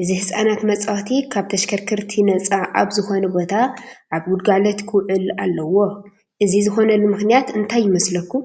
እዚ ህፃናት መፃወቲ ካብ ተሽከርከርቲ ነፃ ኣብ ዝኾነ ቦታ ኣብ ግልጋሎት ክውዕል ኣለዎ፡፡ እዚ ዝኾነሉ ምኽንያት እንታይ ይመስለኩም?